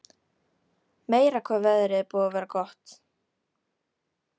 Meira hvað veðrið er búið að vera gott!